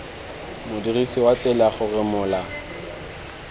modirisi wa tsela gore mola